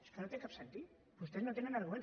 és que no té cap sentit vostès no tenen arguments